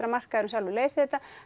að markaðurinn sjálfur leysi þetta